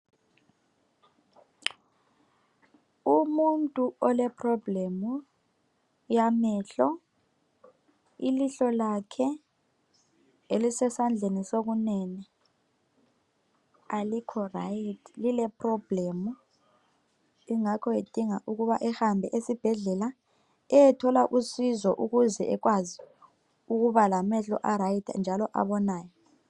Umuntu ole problem yamehlo, ilihlo lakhe elisesandleni sokunene alikho rayithi lile problem. Ingakho edinga ukuba ahambe esibhedlela eyethola usizo ukuze ekwazi ukuba lamehlo a rayithi njalo abonayo.